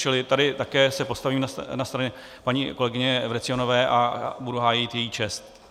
Čili tady také se postavím na stranu paní kolegyně Vrecionové a budu hájit její čest.